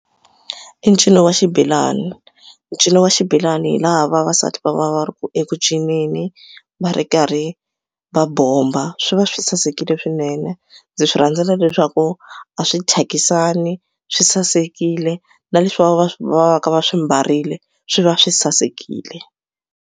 I ncino wa xibelani ncino wa xibelani hi laha vavasati va va va ri ku eku cinceni va ri karhi va bomba swi va swi sasekile swinene ndzi swi rhandzela leswaku a swi thyakisani swi sasekile na leswi va va va va ka va swi mbarile swi va swi sasekile.